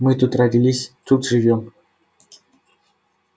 мы тут родились тут живём